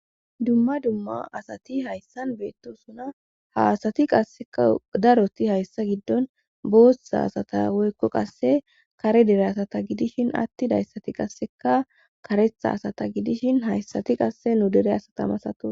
Dumma dumma asati hayssan beettosuna ha asati qasseka daroti hayssa giddon boossa asata woykko qasse kare dere asata gidishin atti dayssati qasseka karetha asata gidishin hayssati qasse nu dere asatamasato.